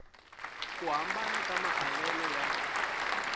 ku hambana ka maavelo ya